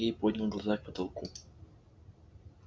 сергей поднял глаза к потолку